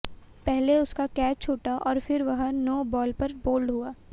पहले उसका कैच छूटा और फिर वह नो बॉल पर बोल्ड हुआ